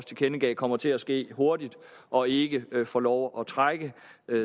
tilkendegav kommer til at ske hurtigt og ikke får lov at trække